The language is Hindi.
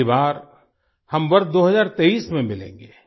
अगली बार हम वर्ष 2023 में मिलेंगे